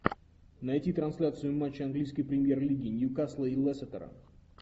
найти трансляцию матча английской премьер лиги ньюкасла и лестера